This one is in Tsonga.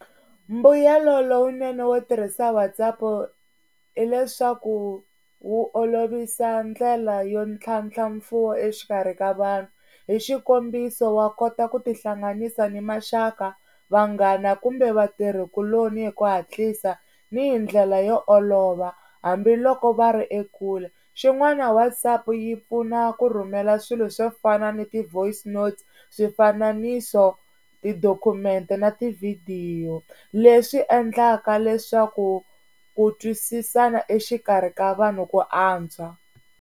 Mbuyelo lowunene wo tirhisa WhatsApp hileswaku wu olovisa ndlela yo tlhantlha mfuwo exikarhi ka vanhu, hi xikombiso wa kota ku tihlanganisa ni maxaka, vanghana kumbe vatirhikuloni hi ku hatlisa ni hi ndlela yo olova hambiloko va ri ekule. Xin'wana WhatsApp yi pfuna ku rhumela swilo swo fana ni ti-voice note, swifananiso, tidokhumente na tivhidiyo leswi endlaka leswaku ku twisisana exikarhi ka vanhu ku antswa.